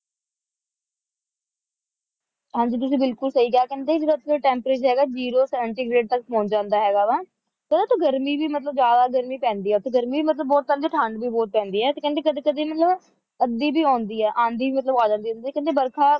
ਹਾਂ ਜੀ ਤੁਸੀਂ ਬਿਲਕੁਲ ਸਹੀ ਕਿਹਾ ਕਹਿੰਦੇ ਜਿੱਦਾਂ ਇਥ੍ਹੇ temperature zero ਜੇਰੋ ਸੈਂਟੀਗ੍ਰੇਡ ਤੱਕ ਪਹੁੰਚ ਜਾਂਦਾ ਹੈਗਾ ਵਾ ਪਤਾ ਉੱਥੇ ਗਰਮੀ ਵੀ ਮਤਲਬ ਜਿਆਦਾ ਗਰਮੀ ਪੈਂਦੀ ਹੈ ਉੱਥੇ ਗਰਮੀ ਵੀ ਮਤਲਬ ਹੈ ਠੰਡ ਵੀ ਬਹੁਤ ਪੈਂਦੀ ਹੈ ਤੇ ਕਹਿੰਦੇ ਕਦੀ ਕਦੀ ਮਤਲਬ ਅੱਧੀ ਵੀ ਆਉਂਦੀ ਹੈ ਆਂਧੀ ਵੀ ਮਤਲਬ ਆ ਜਾਂਦੀ ਹੁੰਦੀ ਹੈ ਬਰਖਾ